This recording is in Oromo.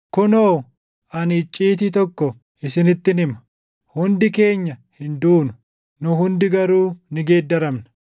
Kunoo, ani icciitii tokko isinittin hima: Hundi keenya hin duunu; nu hundi garuu ni geeddaramna;